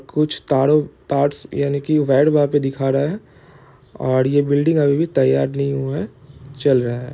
कुछ ताड़ो ताड्स यानि की रेड वहाँ पे दिखा रहा है और ये बिल्डिंग अभी भी तैयाड नहीं हुआ है चल रहा है।